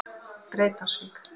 Breiðdalsvík